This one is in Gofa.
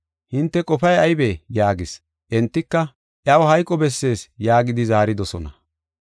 Hinte qofay aybee?” yaagis. Entika, “Iyaw hayqo bessees” yaagidi zaaridosona.